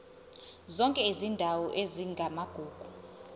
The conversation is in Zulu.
zonke izindawo ezingamagugu